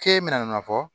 Ke bɛna nana fɔ